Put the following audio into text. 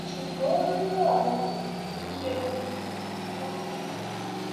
ṣùgbọn rírọ ní tènìyàn ṣiṣẹ ní ti um ọlọrun ọba